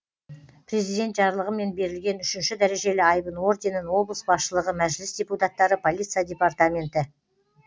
президент жарлығымен берілген үшінші дәрежелі айбын орденін облыс басшылығы мәжіліс депутаттары полиция департаменті